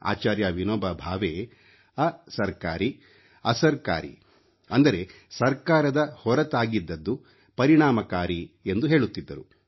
ಆಚಾರ್ಯ ವಿನೋಭಾ ಭಾವೆ ಅಸರ್ಕಾರಿ ಅಸರ್ಕಾರಿ ಅಂದರೆ ಸರ್ಕಾರದ ಹೊರತಾಗಿದ್ದದ್ದು ಪರಿಣಾಮಕಾರಿ ಎಂದು ಹೇಳುತ್ತಿದ್ದರು